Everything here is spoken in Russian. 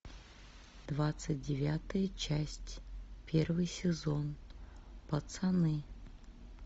двадцать девятая часть первый сезон пацаны